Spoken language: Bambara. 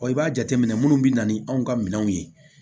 i b'a jateminɛ minnu bɛ na ni anw ka minɛnw ye